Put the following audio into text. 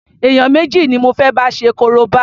Èèyàn méjì ni mo fé bá ṣe korobá.